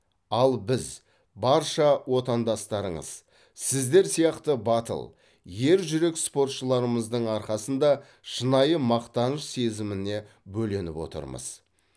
ал біз барша отандастарыңыз сіздер сияқты батыл ержүрек спортшыларымыздың арқасында шынайы мақтаныш сезіміне бөленіп отырмыз